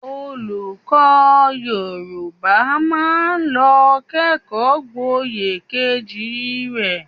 Olùkọ́ Yorùbá máa lọ kẹ́kọ̀ọ́ gboyè kejì rẹ